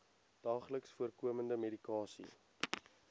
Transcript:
daagliks voorkomende medikasie